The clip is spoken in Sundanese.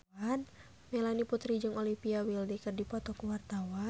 Melanie Putri jeung Olivia Wilde keur dipoto ku wartawan